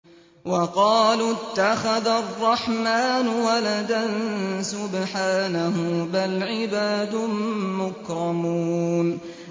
وَقَالُوا اتَّخَذَ الرَّحْمَٰنُ وَلَدًا ۗ سُبْحَانَهُ ۚ بَلْ عِبَادٌ مُّكْرَمُونَ